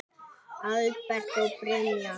Albert og Brynja.